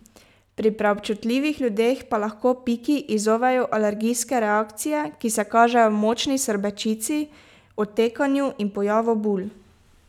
Pri preobčutljivih ljudeh pa lahko piki izzovejo alergijske reakcije, ki se kažejo v močni srbečici, otekanju in pojavu bul.